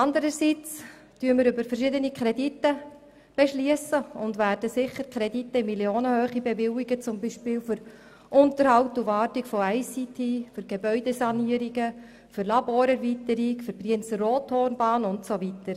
Andererseits beschliessen wir über verschiedene Kredite und werden sicher Kredite in Millionenhöhe bewilligen, zum Beispiel für den Unterhalt und die Wartung von ICT-Einrichtungen, für Gebäudesanierungen und Laborerweiterungen, für die Brienz-Rothorn-Bahn und so weiter.